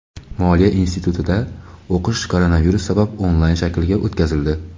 Moliya institutida o‘qish koronavirus sabab onlayn shaklga o‘tkazildi.